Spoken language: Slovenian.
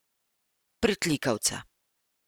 Pritlikavca.